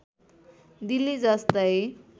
दिल्ली जस्तै